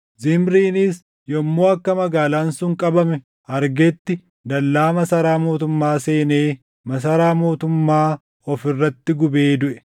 Zimriinis yommuu akka magaalaan sun qabame argetti dallaa masaraa mootummaa seenee masaraa mootummaa of irratti gubee duʼe.